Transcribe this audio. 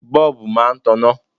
Bọ́ọ̀bù máa taná.